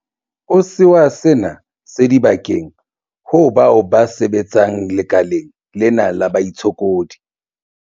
o sewa sena se di bakang ho bao ba sebetsang lekaleng lena la baitshokodi.